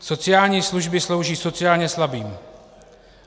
Sociální služby slouží sociálně slabým.